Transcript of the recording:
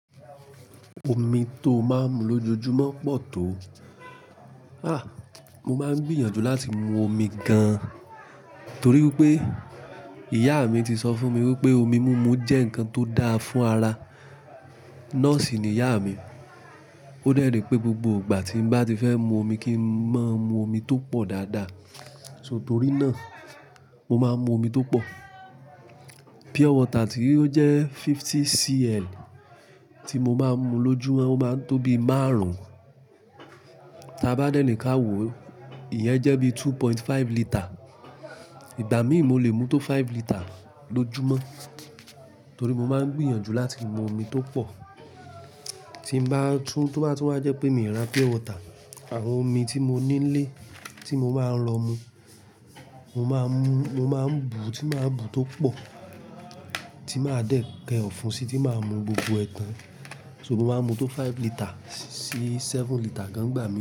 Omi tó máa ń mu lójoojúmọ́ pọ̀ tó. Há! Mo máa ń gbìyànjú láti mu omi gan, torí wipé ìyá mi ti sọ fún mi wípé omi múmu jẹ́ nǹkan tó dáa fún ara. Nọ́ọ̀sì ni ìyá mi. Ó dẹ́ ni pé gbogbo ìgbà tí n bá ti fẹ́ mu omi kí ń má mu omi tó pọ̀ dáadáa. So torí náà, mo máa ń mu omi tó pọ̀. Pure water tí ó jẹ́ 50cl tí mo máa ń mu lójúmọ́, ó máa ń tó bi márùn-ún. Tí a bá dẹ́ni ká wo, ìyẹn jẹ́ bí 2.5 litre. Ìgbà míì mo lè mu tó 5 litre lójúmọ́, torí mo máa ń gbìyànjú láti mu omi tó pọ̀. Tí n bá tún tó bá tún wá jẹ́ pé mi ò ra pure water, àwọn omi tí mo nílé tí mo máa ń rọ mu, mo máa ń mu, mo máa ń bu tí máa bu tó pọ̀ tí máa dẹ̀ kẹ́ ọ̀fun sí tí máa mu gbogbo ẹ̀ẹ̀ tan. So mo máa mu tó 5 litre sí 7 litre gan ìgbà mí.